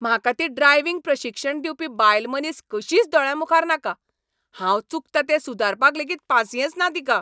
म्हाका ती ड्रायव्हिंग प्रशिक्षण दिवपी बायलमनीस कशीच दोळ्यांमुखार नाका, हांव चुकतां तें सुदारपाक लेगीत पासिंयेंस ना तिका.